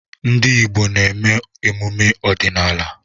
Ndị Igbo na-eme emume ọdịnala.